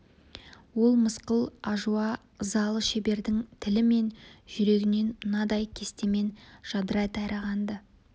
ол мысқыл ажуа ызалы шебердің тілі мен жүрегінен мынадай кестемен жадырай тараған-ды